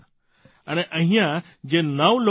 અને અહીંયા જે નવ લોકો બાકી છે